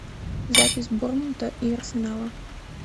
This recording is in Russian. запись борнмута и арсенала